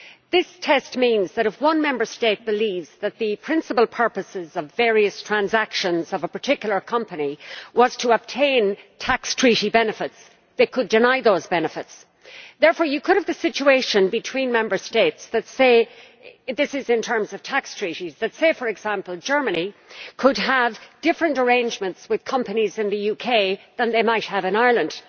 This test means that if one Member State believes that the principal purposes of various transactions of a particular company were to obtain tax treaty benefits, then they could deny those benefits. Therefore, you could have a situation between Member States this is in terms of tax treaties where, for example, Germany could have different arrangements with companies in the UK than they might have in Ireland.